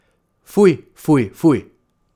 Fuj, fuj, fuj.